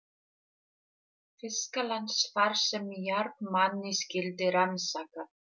Þýskalands, þar sem járnmagnið skyldi rannsakað.